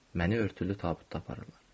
Məni örtülü tabutda aparırlar.